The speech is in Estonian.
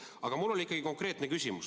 Aga mul on ikkagi konkreetne küsimus.